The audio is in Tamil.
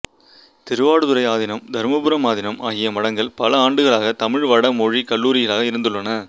திருவாவடுதுறை ஆதீனம் தருமபுரம் ஆதீனம் ஆகிய மடங்கள் பல ஆண்டுகளாகத் தமிழ் வட மொழிக் கல்லூரிகளாக இருந்துள்ளன